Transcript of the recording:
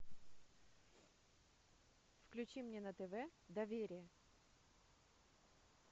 включи мне на тв доверие